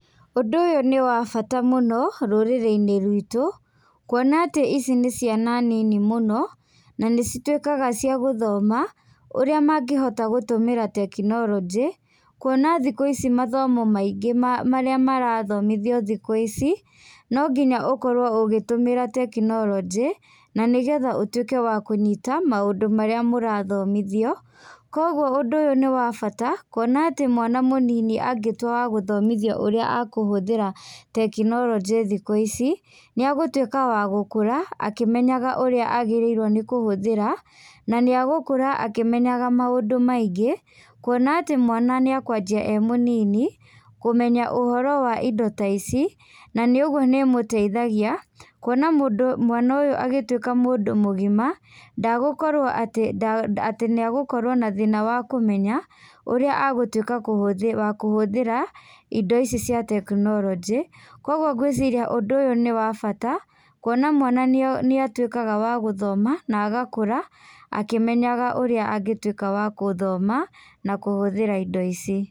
Ũndũ ũyũ nĩ wa bata mũno rũrĩrĩ-inĩ rwĩtũ, kwona atĩ ici nĩ ciana nini mũno, na nĩ cituĩkaga cia gũthoma, ũrĩa mangĩhota gũtũmĩra tekinoronjĩ, kuona thikũ ici mathomo maingĩ marĩa marathomithio thikũ ici, nonginya ũkorwo ũgĩtũmĩra tekinoronjĩ, na nĩgetha ũtuĩke wa kũnyita maũndũ marĩa mũrathomithio, koguo ũndũ ũyũ nĩ wa bata kuona atĩ mwana mũnini angĩtuĩka wa gũthomithio ũrĩa akũhũthira tekinoronjĩ thikũ ici, nĩ agũtuĩka wa gũkũra akĩmenyaga ũrĩa agĩrĩirwo nĩ kũhũthĩra, na nĩ agũkũra akĩmenyaga maũndũ maingĩ, kuona atĩ mwana nĩ akwanjia e mũnini, kũmenya ũhoro wa indo ta ici, na nĩ ũguo nĩ ĩmũteithagia, kuona mũndũ mwana ũyũ agĩtuĩka mũndũ mũgima, ndagũkorwo atĩ nda atĩ nĩagũkorwo na thĩna wa kũmenya, ũrĩa agũtuĩka kũhũthĩ wa kũhũthĩra, indo ici cia tekinoronjĩ, koguo ngwĩciria ũndũ ũyũ nĩ wa bata, kuona mwana nĩ atuĩkaga wa gũthoma na agakũra akĩmenya ũrĩa angĩtuĩka wa gũthoma, na kũhũthĩra indo ici.